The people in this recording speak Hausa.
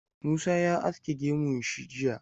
Musa ya aske gemun shi jiya.